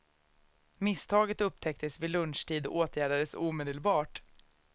Misstaget upptäcktes vid lunchtid och åtgärdades omedelbart.